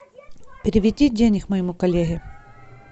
переведи денег моему коллеге